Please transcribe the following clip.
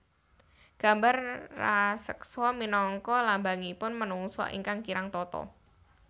Gambar raseksa minangka lambangipun menungsa ingkang kirang tata